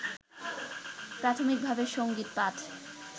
প্রাথমিকভাবে সঙ্গীত পাঠ